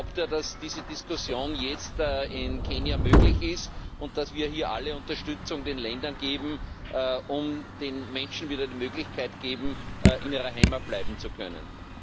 Glaubt er, dass diese Diskussion jetzt in Kenia möglich ist und dass wir hier alle Unterstützung den Ländern geben, um den Menschen wieder die Möglichkeit zu geben, in ihrer Heimat bleiben zu können?